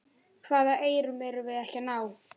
Hvaða eyrum erum við ekki að ná?